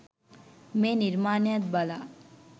මේ නිර්මාණයත් බලා